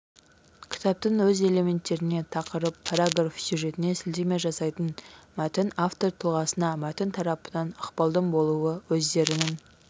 кітаптың өз элементтеріне тақырып параграф сюжетіне сілтеме жасайтын мәтін автор тұлғасына мәтін тарапынан ықпалдың болуы өздерінің